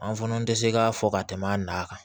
An fana tɛ se k'a fɔ ka tɛmɛ an n'a kan